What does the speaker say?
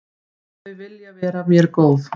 Þau vilja vera mér góð.